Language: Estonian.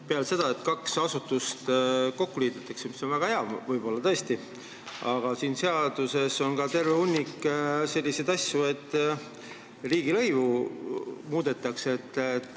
Peale selle, et kaks asutust kokku liidetakse – mis on väga hea, võib-olla tõesti –, on siin seaduses veel terve hunnik mingeid muid asju, näiteks muudetakse riigilõivu.